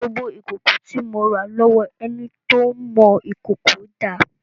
Gbogbo ìkòkò tí mo rà lọ́wọ́ ẹni tó ń mọ ìkòkò dà?